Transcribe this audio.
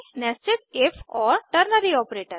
000822 00816023 nested if और ternary operator